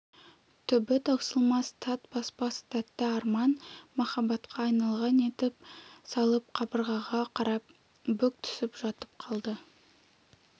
түбі таусылмас тат баспас тәтті арман махаббатқа айналған етіп салып қабырғаға қарап бүк түсіп жатып қалды